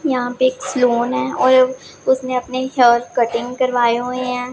यहां पे सेलोन है और उसने अपने हेयर कटिंग करवाए हुए हैं।